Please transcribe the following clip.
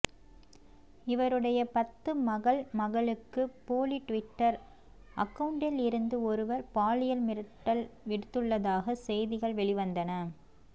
இவருடைய பத்து மகள் மகளுக்கு போலி டுவிட்டர் அக்கவுண்டில் இருந்து ஒருவர் பாலியல் மிரட்டல் விடுத்துள்ளதாக செய்திகள் வெளிவந்தன